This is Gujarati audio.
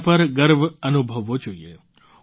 તેના પર ગર્વ અનુભવવો જોઈએ